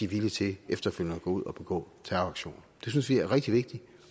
villige til efterfølgende at gå ud og begå terroraktioner det synes vi er rigtig vigtigt